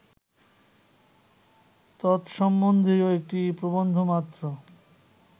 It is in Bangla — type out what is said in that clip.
তৎসম্বন্ধীয় একটি প্রবন্ধমাত্র